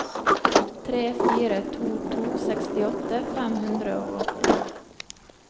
tre fire to to sekstiåtte fem hundre og åtti